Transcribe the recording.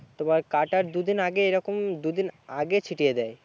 তোমার কাটার দুদিন আগে এরকম দুদিন আগে ছিটিয়ে দেয়